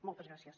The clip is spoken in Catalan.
moltes gràcies